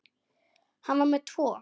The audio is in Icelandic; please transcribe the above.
Hann var með tvo.